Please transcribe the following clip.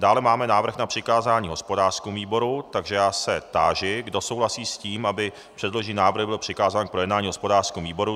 Dále máme návrh na přikázání hospodářskému výboru, takže já se táži, kdo souhlasí s tím, aby předložený návrh byl přikázán k projednání hospodářskému výboru.